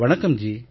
வணக்கம் ஜி